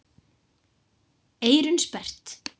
Eyrun sperrt.